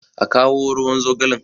a kawo ruwan zogalen!